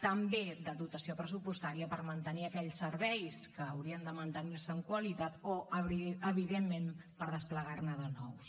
també de dotació pressupostària per mantenir aquells serveis que haurien de mantenir se amb qualitat o evidentment per desplegar ne de nous